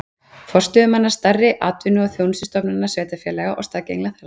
Forstöðumanna stærri atvinnu- og þjónustustofnana sveitarfélaga og staðgengla þeirra.